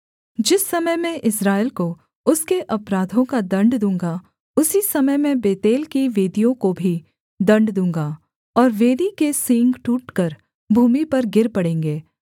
जिस समय मैं इस्राएल को उसके अपराधों का दण्ड दूँगा उसी समय मैं बेतेल की वेदियों को भी दण्ड दूँगा और वेदी के सींग टूटकर भूमि पर गिर पड़ेंगे